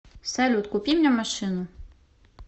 салют купи мне машину